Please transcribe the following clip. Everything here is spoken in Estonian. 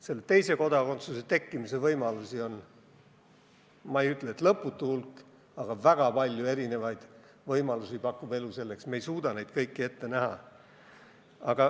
Selle teise kodakondsuse tekkimise võimalusi on – ma ei ütle, et lõputu hulk, aga elu pakub selleks väga palju erinevaid võimalusi ja me ei suuda neid kõiki ette näha.